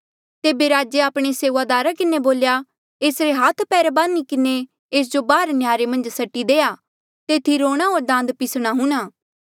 तेबे राजे आपणे सेऊआदारा किन्हें बोल्या एसरे हाथ पैर बान्ही किन्हें एस जो बाहर नह्यारे मन्झ सट्टी देआ तेथी रोणा होर दांत पिसणा हुणा